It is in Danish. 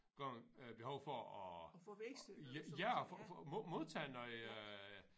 Gange øh behov for at ja og modtage noget